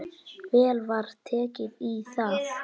Vel var tekið í það.